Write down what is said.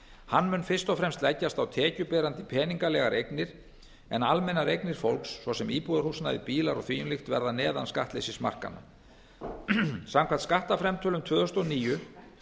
hann mun fyrst og fremst leggjast á tekjuberandi peningalegar eignir en almennar eignir fólks svo sem íbúðarhúsnæði bílar og því um líkt verða neðan skattleysismarkanna samkvæmt skattframtölum tvö þúsund og níu